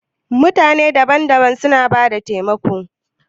Mutane daban-daban suna bada taimako.